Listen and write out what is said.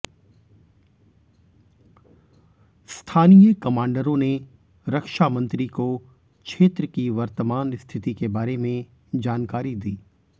स्थानीय कमांडरों ने रक्षा मंत्री को क्षेत्र की वर्तमान स्थिति के बारे में जानकारी दी